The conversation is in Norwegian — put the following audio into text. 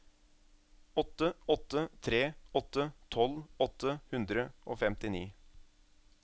åtte åtte tre åtte tolv åtte hundre og femtini